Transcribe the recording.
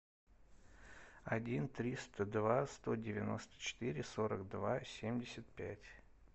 один триста два сто девяносто четыре сорок два семьдесят пять